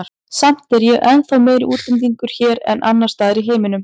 Samt er ég ennþá meiri útlendingur hér en annars staðar í heiminum.